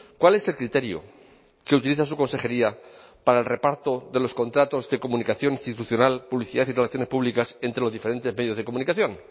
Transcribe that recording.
cuál es el criterio que utiliza su consejería para el reparto de los contratos de comunicación institucional publicidad y relaciones públicas entre los diferentes medios de comunicación